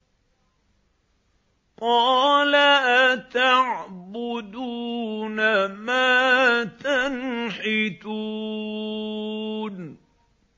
قَالَ أَتَعْبُدُونَ مَا تَنْحِتُونَ